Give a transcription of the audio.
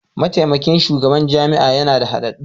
Mataimakin shugaban jami'a yana da hadaddun.